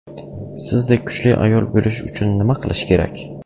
Sizdek kuchli ayol bo‘lish uchun nima qilish kerak?